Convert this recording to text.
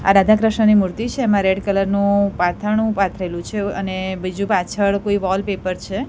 આ રાધા-કૃષ્ણની મૂર્તિ છે એમા રેડ કલર નુ પાથરણુ પાથરેલુ છે અને બીજુ પાછળ કોઈ વોલપેપર છે. "